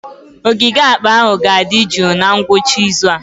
Ogige akpa ahụ ga-adị jụụ na ngwụcha izu a.